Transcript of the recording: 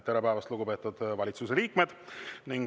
Tere päevast, lugupeetud valitsuse liikmed!